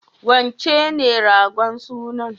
Wancen ne ragon sunan?